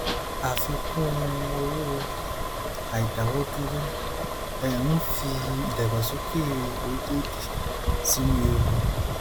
àfikún owó orí àìdáwọ dúró ń fi ìdàgbàsókè orílẹèdè sínú ewu